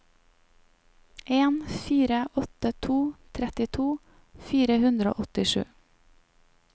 en fire åtte to trettito fire hundre og åttisju